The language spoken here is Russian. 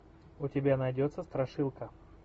у тебя найдется страшилка